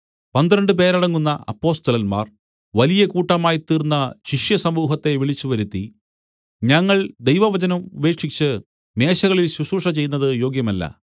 പന്ത്രണ്ട് പേരടങ്ങുന്ന അപ്പൊസ്തലന്മാർ വലിയ കൂട്ടമായി തീർന്ന ശിഷ്യസമൂഹത്തെ വിളിച്ചുവരുത്തി ഞങ്ങൾ ദൈവവചനം ഉപേക്ഷിച്ച് മേശകളിൽ ശുശ്രൂഷ ചെയ്യുന്നത് യോഗ്യമല്ല